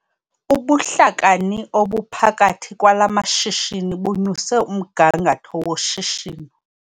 Ubuhlakani obuphakathi kwala mashishini bunyuse umgangatho woshishino.